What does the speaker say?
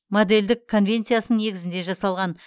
модельдік конвенциясының негізінде жасалған